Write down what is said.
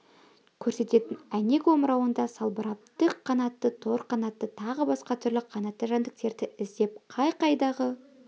көрсететін әйнек омырауында салбырап тік қанатты тор қанатты тағы басқа түрлі қанатты жәндіктерді іздеп қай-қайдағы